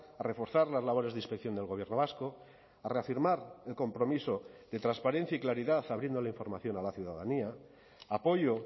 a reforzar las labores de inspección del gobierno vasco a reafirmar el compromiso de transparencia y claridad abriendo la información a la ciudadanía apoyo